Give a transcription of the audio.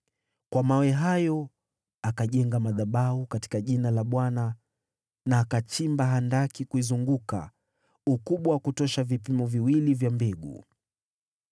Kwa mawe hayo, akajenga madhabahu katika jina la Bwana , na akachimba handaki kuizunguka, ukubwa wa kutosha vipimo viwili vya mbegu.